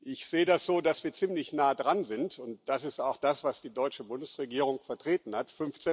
Ich sehe das so, dass wir ziemlich nah dran sind, und das ist auch das, was die deutsche Bundesregierung vertreten hat.